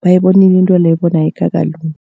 bayibonile intweleyo bona ayikakalungi.